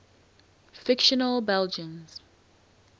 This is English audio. fictional belgians